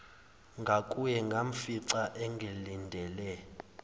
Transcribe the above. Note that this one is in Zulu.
ngakuye ngamfica engilindele